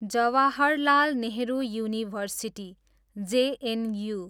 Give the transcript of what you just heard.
Jawaharlal Nehru university, JNU